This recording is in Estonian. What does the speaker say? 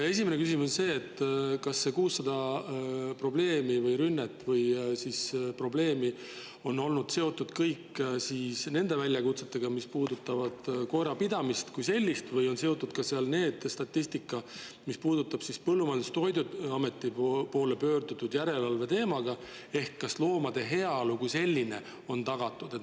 Esimene küsimus on see, kas need 600 rünnet või probleemi on olnud kõik seotud väljakutsetega, mis puudutavad koerapidamist, või on seal ka see statistika, mis kajastab pöördumisi Põllumajandus‑ ja Toiduameti poole järelevalve tegemiseks, kas loomade heaolu on tagatud.